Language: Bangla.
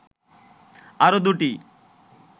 আরও দুটি